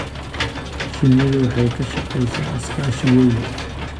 Shinnidu waxay ka shaqeysaa iskaashi weyn.